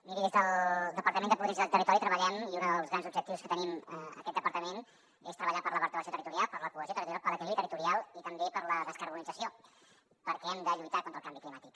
miri des del departament de polítiques del territori treballem i un dels grans objectius que tenim en aquest departament és treballar per la vertebració territorial per la cohesió territorial per l’equilibri territorial i també per la descarbonització perquè hem de lluitar contra el canvi climàtic